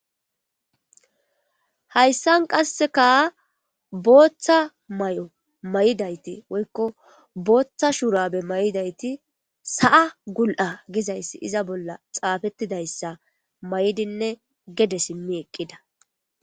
hayssan qasseka booththa may7o may7idayti woykko booththa shurabe may7idayti sa7a gul7a gizayssi iza bolla xaafettidayssa may7dinne gede simmi eqqida